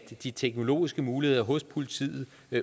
de teknologiske muligheder hos politiet